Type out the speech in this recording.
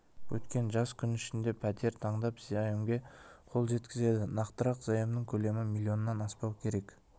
өткен жас күн ішінде пәтер таңдап заемге қол жеткізеді нақтырақ заемның көлемі миллионнан аспау керек